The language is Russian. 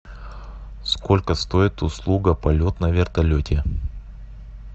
сколько стоит услуга полет на вертолете